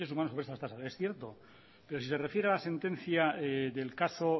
superior de los derechos humanos sobre esa tasa y es cierto pero se refiere a la sentencia del caso